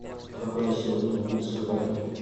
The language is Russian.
какой на сегодня курс кроны